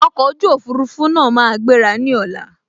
Ọkọ̀ ojú òfurufú náà máa gbéra ní ọ̀la